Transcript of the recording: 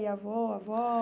Ia avô, a avó?